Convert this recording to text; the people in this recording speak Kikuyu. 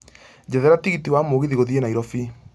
njethera tigiti wa mũgithi gũthiĩ nairobi